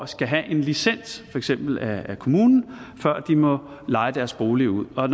skal have en licens for eksempel af kommunen før de må leje deres bolig ud og